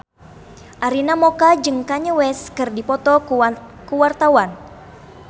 Arina Mocca jeung Kanye West keur dipoto ku wartawan